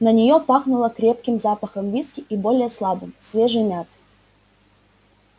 на неё пахнуло крепким запахом виски и более слабым свежей мяты